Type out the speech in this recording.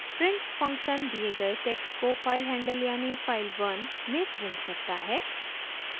print function दिए गए text को filehandle यानि file1 में प्रिंट करता है